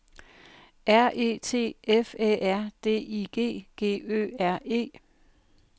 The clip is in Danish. R E T F Æ R D I G G Ø R E